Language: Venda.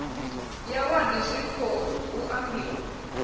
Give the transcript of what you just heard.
ya wadi zwiko hu ambiwa